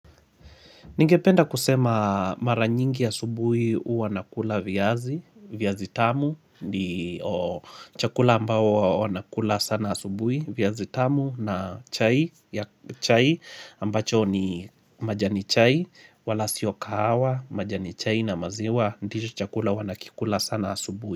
Ningependa kusema maranyingi asubui uwa nakula viazi, viazi tamu, chakula ambao wanakula sana asubui, viazi tamu na chai, ambacho ni majani chai, wala sioka hawa, majani chai na maziwa, ndicho chakula huwa nakikula sana asubui.